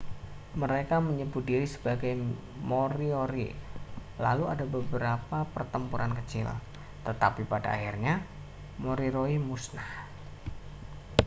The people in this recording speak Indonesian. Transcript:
mereka menyebut diri sebagai moriori lalu ada beberapa pertempuran kecil tetapi pada akhirnya moriori musnah